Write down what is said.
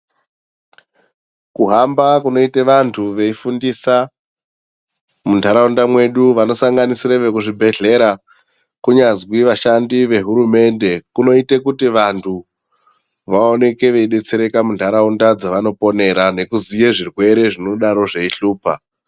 Kuhamba kunoite vanthu veifundisa muntharaunda mwedu vanosanganisire vekuzvibhedhlera kunyazwi vashandi vehurumende kunoite kuti vanthu vaoneke veidetsereka muntharaunda dzavanoponera nekuziye zvirwere zvinodaro zveihlupa.